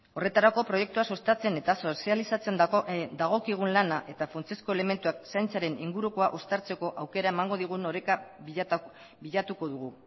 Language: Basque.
horretarako proiektua sustatzen eta sozializatzen dagokigun lana eta funtsezko elementuak zaintzaren ingurukoa uztartzeko aukera emango digun oreka bilatuko dugu